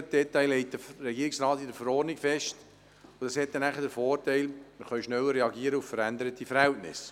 Die Details legt der Regierungsrat in der Verordnung fest, was den Vorteil hat, dass wir auf veränderte Verhältnisse schneller reagieren können.